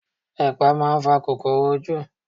Ẹpa máa ń fa kòkòrò ojú.